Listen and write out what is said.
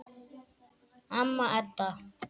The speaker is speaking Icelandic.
Amma Edda.